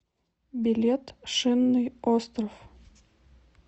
билет шинный остров